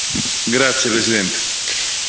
Signor Presidente, onorevoli colleghi,